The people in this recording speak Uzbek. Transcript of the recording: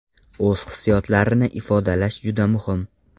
O‘z hissiyotlarini ifodalash juda muhim.